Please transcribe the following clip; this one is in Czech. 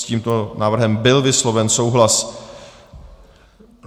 S tímto návrhem byl vysloven souhlas.